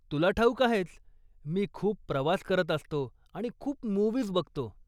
तुला ठाऊक आहेच, मी खूप प्रवास करत असतो आणि खूप मु्व्हीज बघतो.